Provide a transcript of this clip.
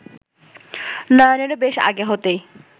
নয়নেরও বেশ আগে হতেই